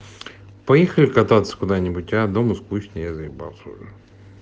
поехали кататься куда-нибудь а дома скучно я заебался уже